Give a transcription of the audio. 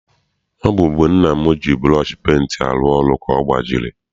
Ọ bụ mgbe nna m ji burọshi penti arụ ọrụ ka ọ gbajiri.